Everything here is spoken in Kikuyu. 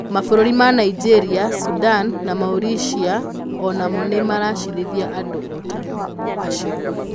Mabũrũri ma Nigeria, Sudan, na Mauritania o namo nĩ maraciirithia andũ o ta acio.